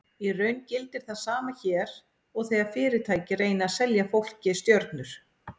Í raun gildir það sama hér og þegar fyrirtæki reyna að selja fólki stjörnur.